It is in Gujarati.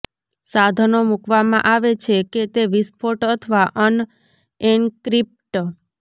સાધનો મૂકવામાં આવે છે કે તે વિસ્ફોટ અથવા અનએન્ક્રિપ્ટ